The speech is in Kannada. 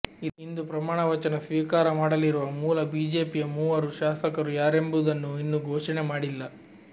ಇಂದು ಪ್ರಮಾಣವಚನ ಸ್ವೀಕಾರ ಮಾಡಲಿರುವ ಮೂಲ ಬಿಜೆಪಿಯ ಮೂವರು ಶಾಸಕರು ಯಾರೆಂಬುದನ್ನು ಇನ್ನೂ ಘೋಷಣೆ ಮಾಡಿಲ್ಲ